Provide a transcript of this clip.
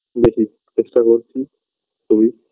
দেখি চেষ্টা করছি যদি